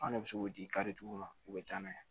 An ne bɛ se k'o di karitigiw ma u bɛ taa n'a ye